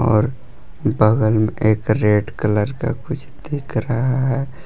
और बगल में एक रेड कलर का कुछ दिख रहा है।